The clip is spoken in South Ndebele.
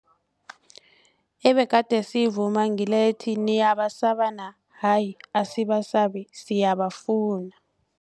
Ebegade siyivuma ngile ethi, Niyabasa na hayi asibasabi siyabafuna.